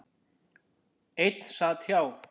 Einn sat hjá.